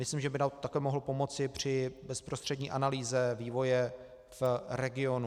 Myslím, že by nám také mohlo pomoci při bezprostřední analýze vývoje v regionu.